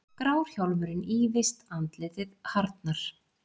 Grár hjálmurinn ýfist, andlitið harðnar.